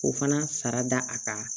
O fana sara da a kan